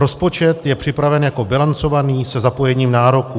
Rozpočet je připraven jako bilancovaný se zapojením nároků.